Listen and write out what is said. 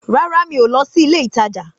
Rárá mi o lọ sí ilé ìtajà.